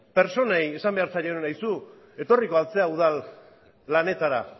pertsonei esan behar zaiela aizu etorriko al zara udal lanetara